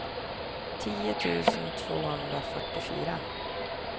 tio tusen tvåhundrafyrtiofyra